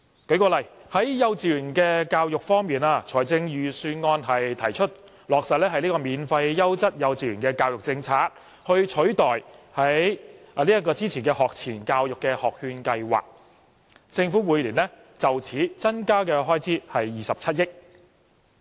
舉例而言，在幼稚園教育方面，預算案提出落實免費優質幼稚園教育政策，以取代之前的學前教育學券計劃，政府每年為此而增加的開支是27億元。